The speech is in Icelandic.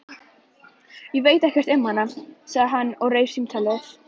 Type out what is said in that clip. Ég veit ekkert um hana, sagði hann og rauf símtalið.